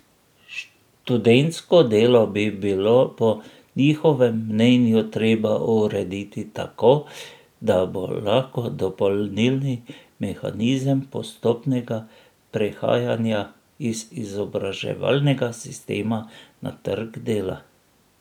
Študentsko delo bi bilo po njihovem mnenju treba urediti tako, da bo lahko dopolnilni mehanizem postopnega prehajanja iz izobraževalnega sistema na trg dela.